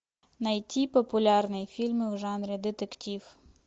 найти популярные фильмы в жанре детектив